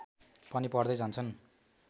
पनि पढ्दै जान्छन्